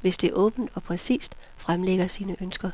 hvis det åbent og præcist fremlægger sine ønsker.